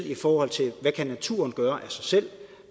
i forhold til hvad naturen kan gøre af sig selv